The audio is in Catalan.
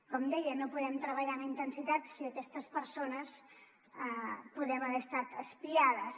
com deia no podem treballar amb intensitat si aquestes persones podem haver estat espiades